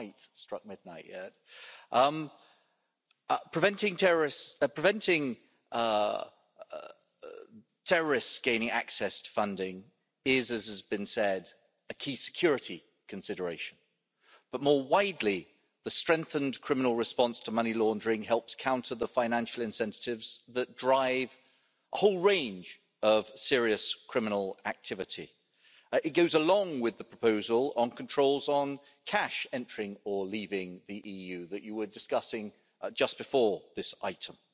It hasn't quite struck midnight yet. Preventing terrorists gaining access to funding is, as has been said, a key security consideration, but more widely, the strengthened criminal response to money laundering helps counter the financial incentives that drive a whole range of serious criminal activity. It goes along with the proposal on controls on cash entering or leaving the EU that you were discussing just before this item.